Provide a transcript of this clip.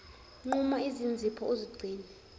nquma izinzipho uzigcine